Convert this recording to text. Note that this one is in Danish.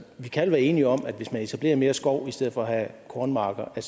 vi kan alle være enige om at hvis man etablerer mere skov i stedet for at have kornmarker er